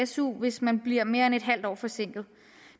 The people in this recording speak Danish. su hvis man bliver mere end et halvt år forsinket